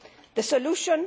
The solution?